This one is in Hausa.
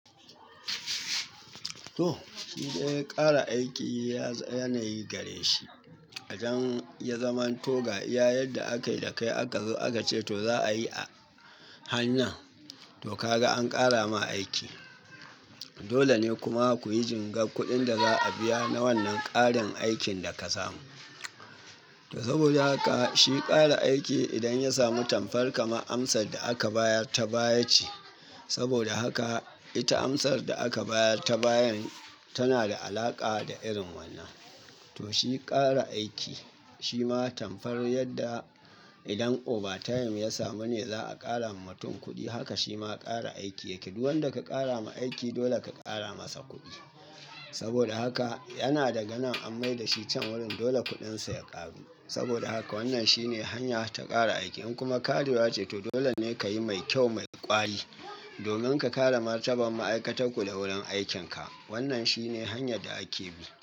To shi dai ƙara aiki yanayi gare shi. Idan ya zamanto ga iya yadda aka yi da kai aka zo aka ce to za'a yi a hannan. To ka ga an ƙara ma aiki. Dole ne kuma ku yi jingar kuɗin da za a biya na wannan ƙarin aikin da ka samu. Saboda haka shi ƙara aiki idan ya samu tamfar kama amsar da aka bayar ta baya ce. Saboda haka ita amsar da aka bayar ta bayan tana da alaƙa da irin wannan. To shi ƙara aiki shima tamfar yadda idan overtime ya samu ne za a ƙara wa mutum kuɗi. Haka shi ma ƙara aiki yake. Duk wanda ka ƙara ma aiki dole ka ƙara masa kuɗi. Saboda haka yana daga nan an mai da shi can wurin dole kuɗinsa ya ƙaru. Saboda haka wannan shi ne hanya ta ƙara aiki. In kuma karewa ce to dole ne ka yi mai kyau, mai ƙwari domin ka kare martaban ma'aikatakku da wurin aikinka. Wannan shi ne hanyar da ake bi.